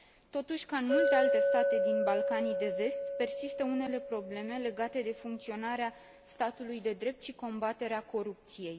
Totuși, ca în multe alte state din Balcanii de Vest, persistă unele probleme legate de funcționarea statului de drept și combaterea corupției.